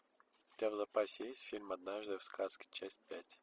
у тебя в запасе есть фильм однажды в сказке часть пять